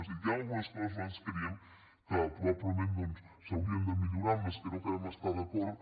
és a dir hi han algunes coses que nosaltres creiem que probablement doncs s’haurien de millorar amb les quals no acabem d’estar d’acord